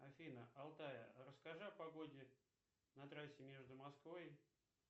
афина алтая расскажи о погоде на трассе между москвой